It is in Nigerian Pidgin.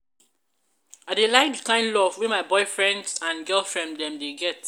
i dey like di kind love wey boyfriends and girlfriends dem dey get.